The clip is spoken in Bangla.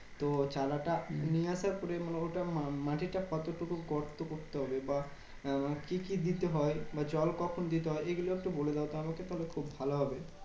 তো চারাটা নিয়ে আসার পরে মানে ওটা মা~ মাটিটা কতটুকু গর্ত করতে হবে? বা আহ কি কি দিতে হয়? বা জল কখন দিতে হয়? এগুলো একটু বলে দাওতো আমাকে? তাহলে খুব ভালো হবে।